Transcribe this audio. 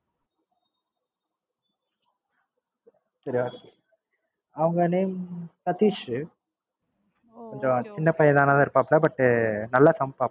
அவங்க name சதிஷ் கொஞ்சம் சின்னபையனா இருப்பாபுள்ள but நல்லா சமைப்பாங்க